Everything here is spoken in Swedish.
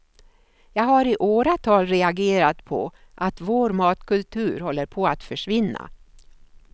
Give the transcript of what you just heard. Jag har i åratal reagerat på att vår matkultur håller på att försvinna.